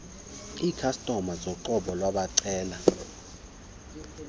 ikhastoma zoqobo wabacela